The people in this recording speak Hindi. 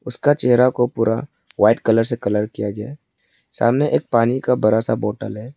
उसका चेहरा को पूरा वाइट कलर से कलर किया गया है सामने एक पानी का बरा सा बोटल है।